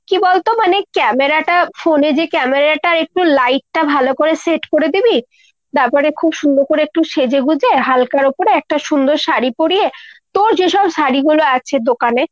কী বলতো মানে camera টা phone এর যে camera টা একটু light টা ভালো করে set করে দিবি। তারপরে খুব সুন্দর করে একটু সেজেগুজে হালকার ওপরে একটা সুন্দর শাড়ী পরিয়ে, তোর যেসব শাড়ীগুলো আছে দোকানে